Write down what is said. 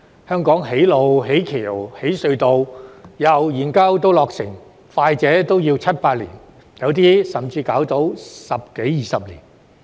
香港建路、架橋、挖隧道，由研究至落成，快者也要七八年，有些甚至要花上十多二十年。